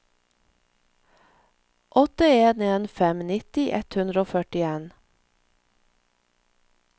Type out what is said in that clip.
åtte en en fem nitti ett hundre og førtien